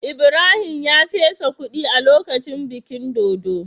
Ibrahim ya fesa kudi a lokacin bikin dodo.